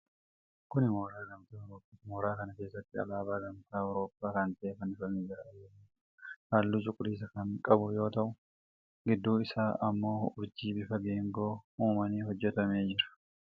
Kun mooraa gamtaa Awurooppaati. Mooraa kana keessatti alaabaa gamtaa Awurooppaa kan ta'e fannifamee jira. Alaabaan kun halluu cuquliisaa kan qabu yoo ta'u, gidduu isaan ammoo urjii bifa geengoo uumaniin hojjatamee jira.